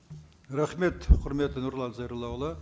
рахмет құрметті нұрлан зайроллаұлы